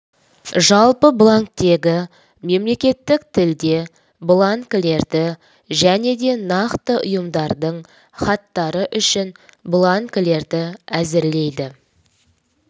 жалпы бланктегі мемлекеттік тілде бланкілерді және де нақты ұйымдардың хаттары үшін бланкілерді әзірлейді